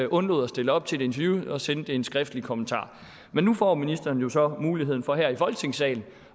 undlod at stille op til et interview og sendte en skriftlig kommentar men nu får ministeren jo så muligheden for her i folketingssalen